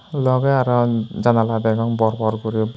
logey aro janala degong bor bor guri.